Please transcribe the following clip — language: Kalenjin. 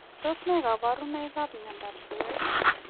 Tos nee kabarunoik ap miondoop suwet?